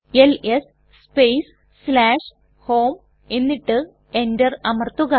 LS space home എന്നിട്ട് Enter അമർത്തുക